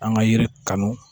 An ka yiri kanu